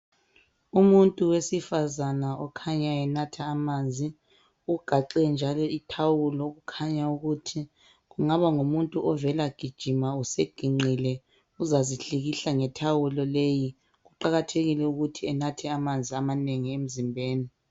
Umuntu wesifazana ukhanya enatha amanzi. Ugaxe njalo ithawulo okukhanya ukuthi kungaba ngumuntu ovela gijima useginqile uzazihlikihla ngethawulo leyi. Kuqakathekile ukuthi enathe amanzi amanengi emzimbeni.